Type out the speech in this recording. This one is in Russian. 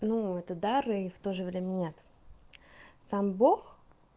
ну это дар и в тоже время нет сам бог